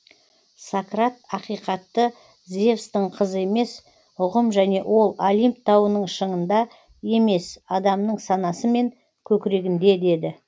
сократ ақиқатты зевстің қызы емес ұғым және ол олимп тауының шыңында емес адамның санасы мен көкірегінде деді